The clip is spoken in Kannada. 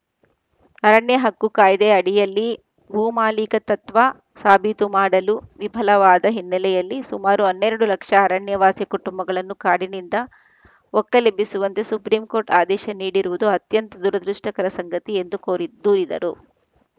ಅರಣ್ಯ ಹಕ್ಕು ಕಾಯ್ದೆ ಅಡಿಯಲ್ಲಿ ಭೂಮಾಲೀಕತತ್ವ ಸಾಬೀತು ಮಾಡಲು ವಿಫಲವಾದ ಹಿನ್ನೆಲೆಯಲ್ಲಿ ಸುಮಾರು ಹನ್ನೆರಡು ಲಕ್ಷ ಅರಣ್ಯವಾಸಿ ಕುಟುಂಬಗಳನ್ನು ಕಾಡಿನಿಂದ ಒಕ್ಕಲೆಬ್ಬಿಸುವಂತೆ ಸುಪ್ರಿಂ ಕೋರ್ಟ್‌ ಆದೇಶ ನೀಡಿರುವುದು ಅತ್ಯಂತ ದುರದೃಷ್ಟಕರ ಸಂಗತಿ ಎಂದು ಕೋರಿದ್ ದೂರಿದರು